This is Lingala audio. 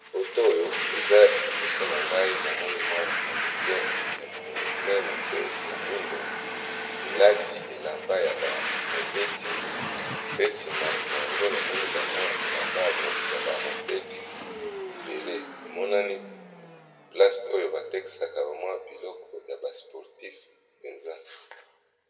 Photos oyo eza liboso na ngai, namoni bilamba ébélé yaba mobeti, eza esika oyo batekisaka bilamba ya sport